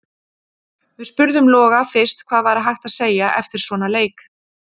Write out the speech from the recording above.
Við spurðum Loga fyrst hvað væri hægt að segja eftir svona leik: